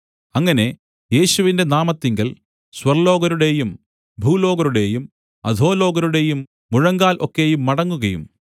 അങ്ങനെ യേശുവിന്റെ നാമത്തിങ്കൽ സ്വർല്ലോകരുടെയും ഭൂലോകരുടെയും അധോലോകരുടെയും മുഴങ്കാൽ ഒക്കെയും മടങ്ങുകയും